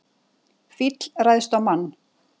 Fíll ræðst á mann